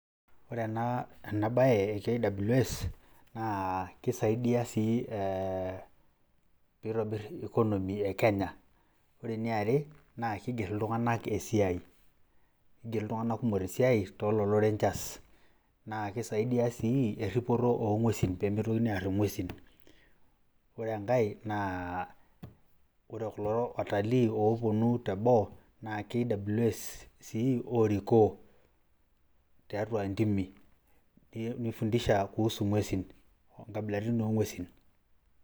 Ore ena bae e KWS, na kisaidia pee itobir economy ekenya. Ore eniare, naa keiger iltung'anak kumok esiai too lelo rangers. Isaidia sii erripoto oo ng'uesi pee meitokini aarr ing'uesi. Ore enkae, naa ore kulo watalii ooponu teboo, naa KWS sii oorikoo tiatu intimi, nifundisha inaipirta ing'uesin naapaashipaasha